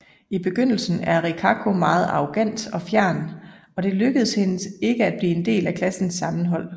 I begyndelsen er Rikako meget arrogant og fjern og det lykkedes hende ikke at blive en del af klassens sammenhold